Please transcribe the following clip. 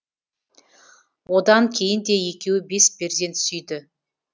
одан кейін де екеуі бес перзент сүйді